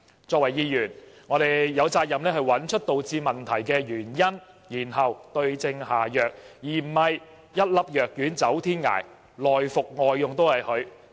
作為議員，我們有責任找出導致問題的原因，然後對症下藥，而非一粒藥丸走天涯，內服外用都是它。